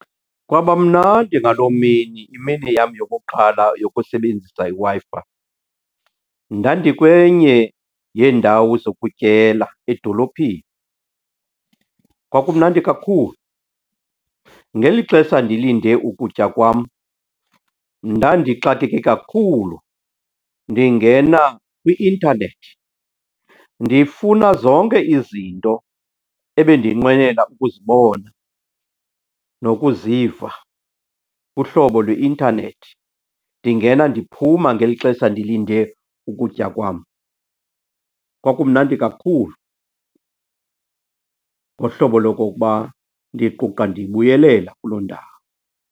Kwaba mnandi ngaloo mini, imini yam yokuqala yokusebenzisa iWi-Fi. Ndandikwenye yeendawo zokutyela edolophini, kwakumnandi kakhulu. Ngeli xesha ndilinde ukutya kwam ndandixakeke kakhulu ndingena kwi-intanethi ndifuna zonke izinto ebendinqwenela ukuzibona nokuziva kuhlobo lweintanethi, ndingena ndiphuma ngeli xesha ndilinde ukutya kwam. Kwakumnandi kakhulu ngohlobo lokokuba ndiquqa ndibuyelela kuloo ndawo.